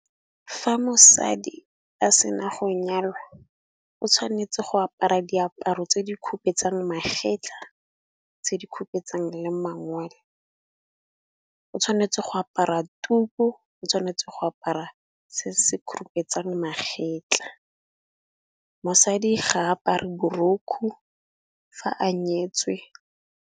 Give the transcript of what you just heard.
Fa mosadi a sena go nyalwa o tshwanetse go apara diaparo tse di khupetsang magetla, tse di ka petse le mangwele. O tshwanetse go apara tuku, o tshwanetse go apara se se khurupetsang magetla, mosadi ga a apare borukgu fa a nyetswe.